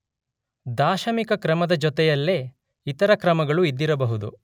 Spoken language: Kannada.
ದಾಶಮಿಕ ಕ್ರಮದ ಜೊತೆಯಲ್ಲೇ ಇತರ ಕ್ರಮಗಳೂ ಇದ್ದಿರಬಹುದು.